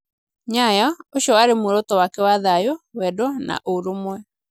Nyayo, ucio warĩ muoroto wake wa thayũ, wendo, na ũrũmwe.